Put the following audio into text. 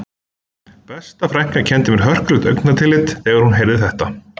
Besta frænka sendi mér hörkulegt augnatillit þegar hún heyrði þetta